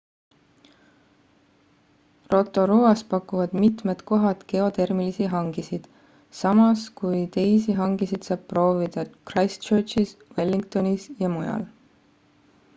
rotoruas pakuvad mitmed kohad geotermilisi hangisid samas kui teisi hangisid saab proovida christchurchis wellingtonis ja mujal